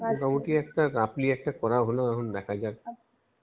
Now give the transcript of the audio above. মোটামুটি একটা roughly একটা করা হলো এখন দেখা যাক